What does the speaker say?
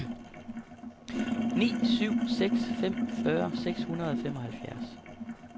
ni syv seks fem fyrre seks hundrede og femoghalvfjerds